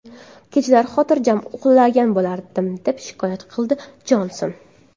Kechalari xotirjam uxlagan bo‘lardim”, − deb shikoyat qiladi Jonson.